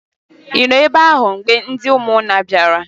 Ị nọ ebe ahụ mgbe ndị ụmụnna bịara?